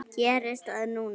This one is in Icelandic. Gerist það núna?